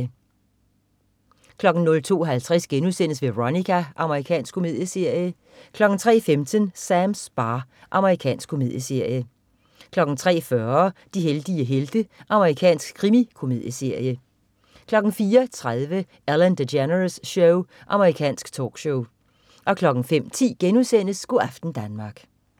02.50 Veronica.* Amerikansk komedieserie 03.15 Sams bar. Amerikansk komedieserie 03.40 De heldige helte. Amerikansk krimikomedieserie 04.30 Ellen DeGeneres Show. Amerikansk talkshow 05.10 Go' aften Danmark*